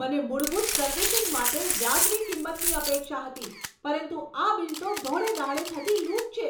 મને મૂળભૂત સર્વિસિંગ માટે વાજબી કિંમતની અપેક્ષા હતી, પરંતુ આ બિલ તો ધોળે દ્હાડે થતી લૂંટ છે!